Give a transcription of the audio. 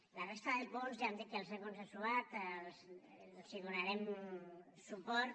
a la resta de punts ja hem dit que els hem consensuat els donarem suport